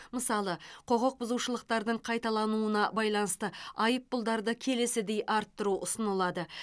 мысалы құқық бұзушылықтардың қайталануына байланысты айыппұлдарды келесідей арттыру ұсынылады